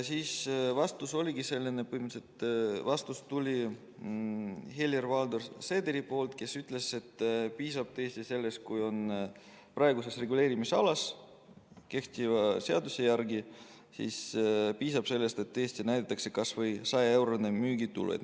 Vastus tuli põhimõtteliselt Helir-Valdor Seederilt, kes ütles, et praegu kehtiva seaduse järgi piisab tõesti sellest, et näidatakse kas või 100-eurost müügitulu.